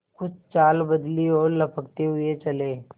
कुछ चाल बदली और लपकते हुए चले